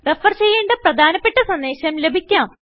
refer ചെയ്യേണ്ട ഒരു പ്രധാനപ്പെട്ട സന്ദേശം ലഭിക്കാം